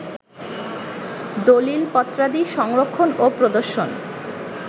দলিলপত্রাদি সংরক্ষণ ও প্রদর্শন